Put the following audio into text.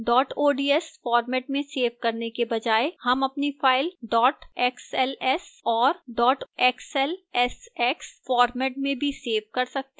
dot ods format में save करने के बजाय हम अपनी file dot xls और dot xlsx format में भी सेव कर सकते हैं